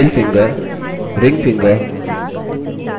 ring finger